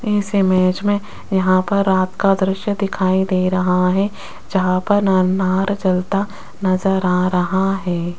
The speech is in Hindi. इस इमेज में यहां पर आग का दृश्य दिखाई दे रहा है जहां पर न अनार जलता नजर आ रहा है।